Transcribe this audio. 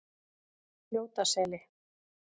Fljótaseli